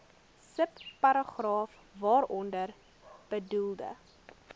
subparagraaf waaronder bedoelde